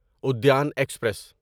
Udyan express